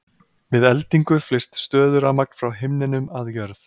Við eldingu flyst stöðurafmagn frá himninum að jörð.